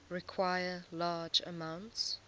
require large amounts